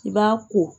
I b'a ko